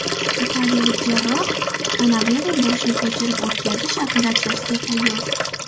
Italiyalik jarroh Kanavero boshni ko‘chirib o‘tkazish operatsiyasiga tayyor.